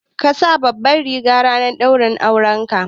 Ka saka babbar riga ranar daurin aure